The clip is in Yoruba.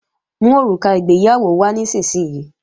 Mú òrùka ìgbéyàwó wá nísinsìnyí!